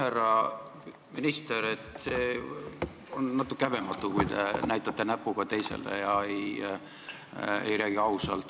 Härra minister, see on natuke häbematu, kui te näitate näpuga teistele ja ei räägi ausalt.